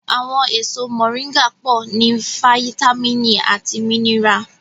Àwọn èso mọ̀ríńgà pọ̀ ní fáyítámìnì àti mínírà